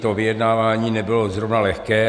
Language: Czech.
To vyjednávání nebylo zrovna lehké.